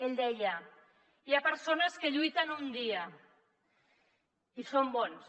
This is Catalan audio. ell deia hi ha persones que lluiten un dia i són bones